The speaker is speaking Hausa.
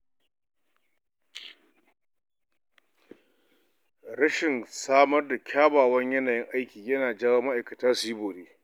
Rashin samar da kyakkyawan yanayin aiki ya na jawo ma’aikata su yi bore.